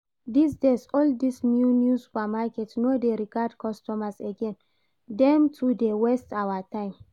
This days all this new new supermarket no dey regard customers again, dem too dey waste our time